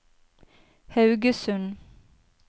Haugesund